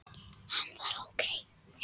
Hann var ókei.